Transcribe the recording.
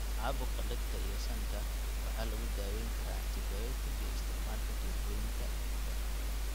Caabuqa dhegta iyo sanka waxaa lagu daweyn karaa antibiyootik iyo isticmaalka tubooyinka dhegta.